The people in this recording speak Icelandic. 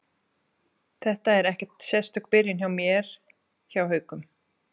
Þetta er ekkert sérstök byrjun hjá mér hjá Haukum.